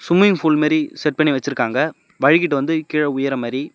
Swimming pool மாறி set பண்ணி வச்சிருக்காங்க வழுக்கிட்டு வந்து கீழ உய்ர மாறி.